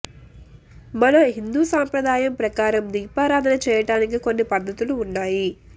మన హిందూ సంప్రదాయం ప్రకారం దీపారాధన చేయటానికి కొన్ని పద్ధతులు ఉన్నాయి